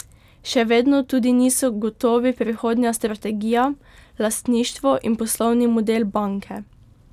Še vedno tudi niso gotovi prihodnja strategija, lastništvo in poslovni model banke.